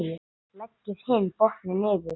Leggið hinn botninn yfir.